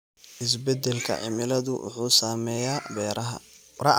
Isbeddelka cimiladu wuxuu saameeyaa beeraha.